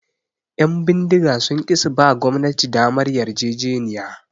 Ƴan bindiga sun ki suba gwamnati damar yarjejeniya